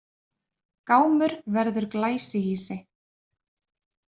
Gámur verður glæsihýsi